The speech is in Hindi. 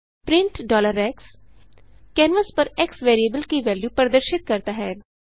प्रिंट x कैनवास पर एक्स वेरिएबल की वेल्यू प्रदर्शित करता है